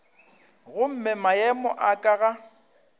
gomme maemo a ka ga